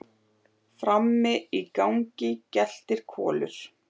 Sumir hafa aldrei verið til.